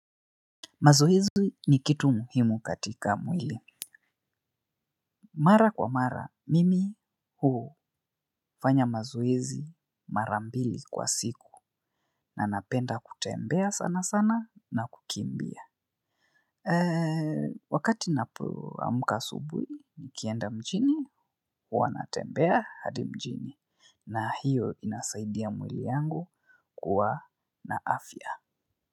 Mazoezi ni kitu muhimu katika mwili. Mara kwa mara, mimi hufanya mazoezi mara mbili kwa siku. Na napenda kutembea sana sana na kukimbia. Wakati napoamuka asubuhi, nikienda mjini, huwa natembea hadi mjini. Na hiyo inasaidia mwili yangu kuwa na afya.